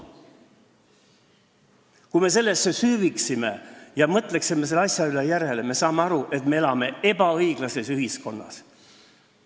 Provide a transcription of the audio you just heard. Kui me sellesse süüviksime ja mõtleksime selle asja üle järele, siis me saaksime aru, et me elame ebaõiglases ühiskonnas.